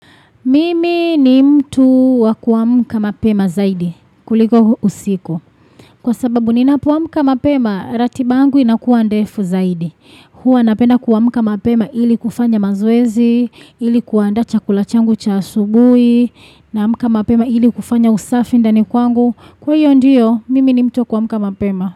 Mimi ni mtu wa kuamka mapema zaidi. Kuliko usiku. Kwa sababu ninapoamka mapema, ratiba yangu inakuwa ndefu zaidi. Hua napenda kuamka mapema ili kufanya maoezi, ili kuandaa chakula changu cha asubuhi, na amka mapema ili kufanya usafi ndani kwangu. Kwa hiyo ndiyo, mimi ni mtu wakuamka mapema.